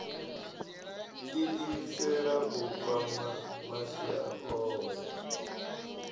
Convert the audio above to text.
iimisela u kwama masia ohe